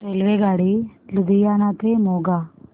रेल्वेगाडी लुधियाना ते मोगा